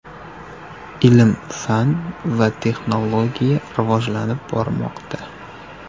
Ilm-fan va texnologiya rivojlanib bormoqda.